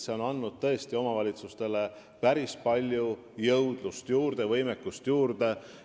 See tõus on tõesti omavalitsustele päris palju jõudlust ja võimekust juurde andnud.